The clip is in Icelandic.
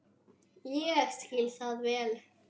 Ég skil það vel.